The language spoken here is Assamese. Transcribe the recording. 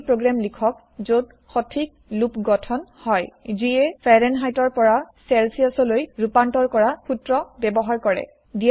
এটা ৰুবি প্ৰগ্ৰেম লিখক যত সথিক লুপ গঠন হয় যিয়ে ফাৰেনহাইত ৰ পৰা চেলচিয়াচ লৈ ৰুপান্তৰ কৰা সুত্ৰ ব্যৱহাৰ কৰে